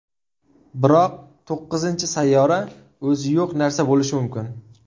Biroq to‘qqizinchi sayyora o‘zi yo‘q narsa bo‘lishi mumkin.